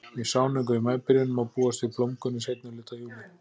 Við sáningu í maíbyrjun má búast við blómgun í seinni hluta júlí.